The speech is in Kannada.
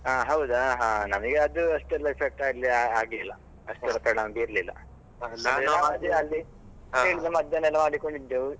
ಹಾ ಹೌದಾ ಹಾ ನಮಗೆ ಅದು ಅಷ್ಟೆಲ್ಲ effect ಆಗ್ಲಿ~ ಆಗ್ಲಿಲ್ಲ. ಅಷ್ಟು ಒತ್ತಡ ಅಂತ ಇರ್ಲಿಲ್ಲ ಹಾ ಮದ್ದು ಎಲ್ಲ ಮಾಡಿಕೊಂಡಿದ್ದೆವು.